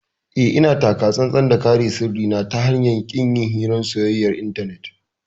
Eh, ina taka tsantsan da kare sirrin na ta hanyar ƙin yin hirar soyayyar intanet.